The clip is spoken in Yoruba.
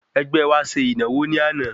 Ẹgbẹ́ wa ṣe ìnáwó ní àná.